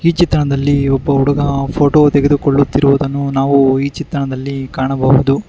ಈ ಚಿತ್ರಣದಲ್ಲಿ ಒಬ್ಬ ಹುಡುಗ ಫೋಟೋ ತೆಗೆದುಕೊಳ್ಳುತ್ತಿರುವುದನ್ನು ನಾವು ಈ ಚಿತ್ರಣದಲ್ಲಿ ಕಾಣಬಹುದು.